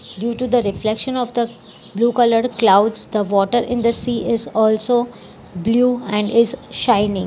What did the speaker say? Due to the reflection of the blue colour clouds the water in the sea is also blue and its shining.